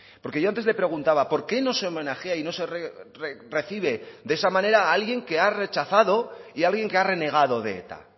porque yo antes le preguntaba por qué no se homenajea y no se recibe de esa manera a alguien que ha rechazado y alguien que ha renegado de eta